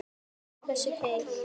Hversu heil